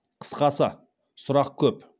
қысқасы сұрақ көп